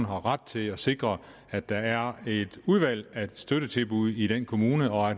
har ret til at sikre at der er et udvalg af støttetilbud i den kommune og